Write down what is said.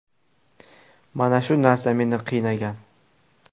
Mana shu narsa meni qiynagan.